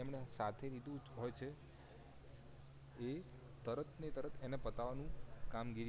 એ સાચી નીતિ હોય છે એ તરત ને તરત એને પતાવાનું કામગીરી